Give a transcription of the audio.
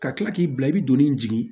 Ka tila k'i bila i bɛ doni in jigi